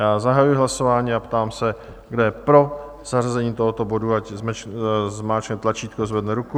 Já zahajuji hlasování a ptám se, kdo je pro zařazení tohoto bodu, ať zmáčkne tlačítko a zvedne ruku.